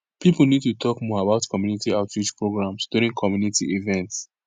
people need to talk more about community outreach programs during community events